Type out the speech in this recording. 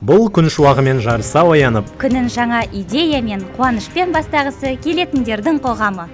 бұл күн шуағымен жарыса оянып күнін жаңа идеямен қуанышпен бастағысы келетіндердің қоғамы